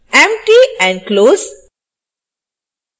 empty and close